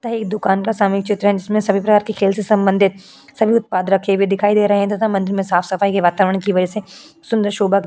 ता है इस दुकान का सामूहिक चित्र है। इसमें सभी प्रकार के खेल से संबंधित सभी उत्पाद रखे हुए दिखाई दे रहे हैं तथा मंदिर में साफ़ सफाई के वातावरण की वजह से सुंदर शोभा --